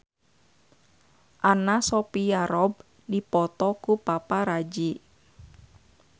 Anna Sophia Robb dipoto ku paparazi